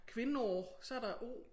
Kvinnor så der o